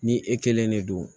Ni e kelen de don